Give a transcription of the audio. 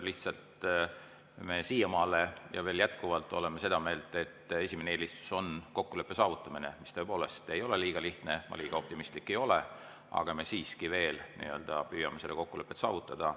Lihtsalt me siiamaale ja veel jätkuvalt oleme seda meelt, et esimene eelistus on kokkuleppe saavutamine, mis tõepoolest ei ole liiga lihtne, ma liiga optimistlik ei ole, aga me siiski veel püüame kokkulepet saavutada.